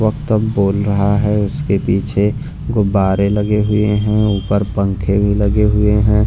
वक्त बोल रहा है उसके पीछे गुब्बारे लगे हुए हैं ऊपर पंख भी लगे हुए हैं।